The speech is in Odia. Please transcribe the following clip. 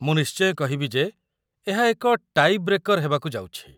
ମୁଁ ନିଶ୍ଚୟ କହିବି ଯେ, ଏହା ଏକ ଟାଇ ବ୍ରେକର୍ ହେବାକୁ ଯାଉଛି।